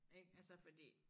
Ik altså fordi